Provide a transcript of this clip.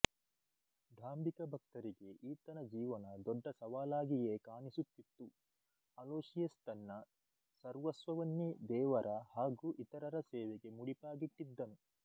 ಢಾಂಬಿಕ ಭಕ್ತರಿಗೆ ಈತನ ಜೀವನ ದೊಡ್ಡ ಸವಾಲಾಗಿಯೇ ಕಾಣಿಸುತಿತ್ತು ಅಲೋಶಿಯಸ್ ತನ್ನ ಸರ್ವಸ್ವವನ್ನೇ ದೇವರ ಹಾಗೂ ಇತರರ ಸೇವೆಗೆ ಮುಡಿಪಾಗಿಟ್ಟಿದ್ದನು